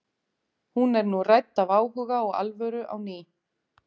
hún er nú rædd af áhuga og alvöru á ný